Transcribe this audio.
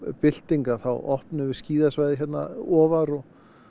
bylting að þá opnum við svæðið hérna ofar og